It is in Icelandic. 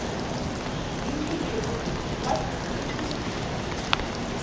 Ingifríður, læstu útidyrunum.